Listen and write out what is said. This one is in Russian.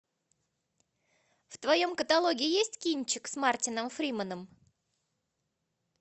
в твоем каталоге есть кинчик с мартином фриманом